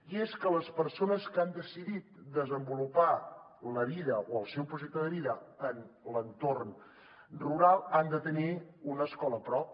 i és que les persones que han decidit desenvolupar la vida o el seu projecte de vida en l’entorn rural han de tenir una escola a prop